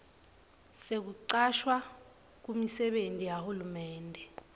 sekucashwa kumisebenti yahulumende